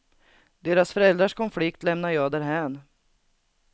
Deras föräldrars konflikt lämnar jag därhän.